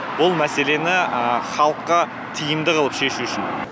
бұл мәселені халыққа тиімді қылып шешу үшін